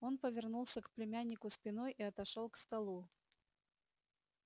он повернулся к племяннику спиной и отошёл к столу